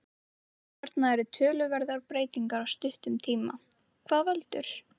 Hérna eru töluverðar breytingar á stuttum tíma, hvað veldur?